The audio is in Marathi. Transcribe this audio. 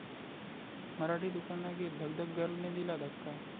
मराठीत उखाणा घेत 'धकधक गर्ल'ने दिला धक्का!